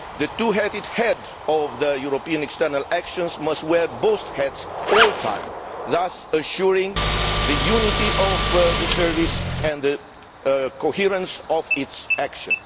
The two headed head of the European external actions must wear both hats at all times, thus assuring the unity of the service and the coherence of its action.